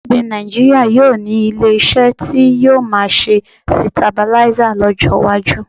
Orílẹ̀-èdè Nàìjííríà yóò ní ilé-iṣẹ́ tí yóò máa ṣe sitabuláísà lọ́jọ́ iwájú